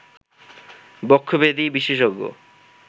বক্ষব্যাধি বিশেষজ্ঞ